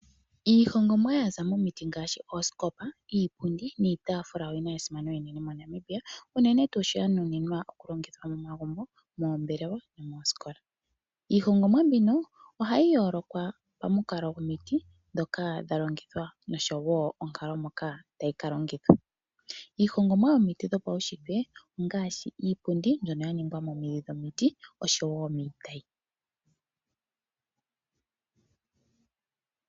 Iihongomwa mbyoka yaza momiti ngaashi oosikopa iipundi niitafula oyina esimano enene monamibia, unene tuu sho ya nuninwa okulongitha momagumbo, moombelewa nomoosikola . Iihongomwa mbino ohayi yoolokwa pamikalo gwomiti ndhoka dha longithwa noshowo onkalo moka tayi ka longithwa. Iihongomwa yomiti dhopaushitwe ongaashi iipundi mbyono ya ningwa momidhi dhomiti oshowo miitayi.